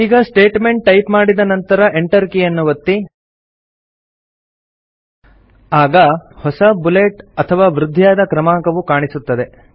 ಈಗ statement type ಮಾಡಿದ ನಂತರ Enter ಕೀಯನ್ನು ಒತ್ತಿ ಹೊಸ ಬುಲೆಟ್ ಅಥವಾ ವೃದ್ಧಿಯಾದ ಕ್ರಮಾಂಕವು ಕಾಣಿಸುತ್ತದೆ